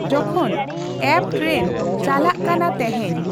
ᱡᱚᱠᱷᱚᱱ ᱮᱯᱹ ᱴᱨᱮᱱ ᱪᱟᱞᱟᱜ ᱠᱟᱱᱟ ᱛᱮᱦᱮᱧ